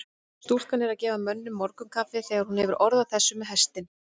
Stúlkan er að gefa mönnunum morgunkaffið þegar hún hefur orð á þessu með hestinn.